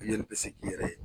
I yɛrɛ bɛ se k'i yɛrɛ ye.